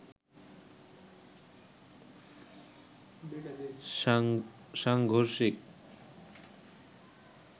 সাংঘর্ষিক